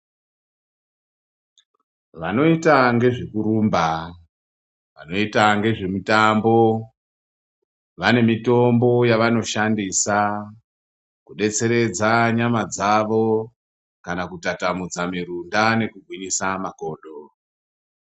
Vanoita ngezve kurumba vanoita ngezve mitambo vane mitombo yavano shandisa ku detseredza nyama dzavo kana kutatamutsa mirunda neku gwinyisa makodo.